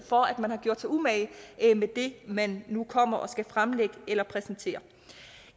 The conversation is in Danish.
for at man har gjort sig umage med det man nu kommer og skal fremlægge eller præsentere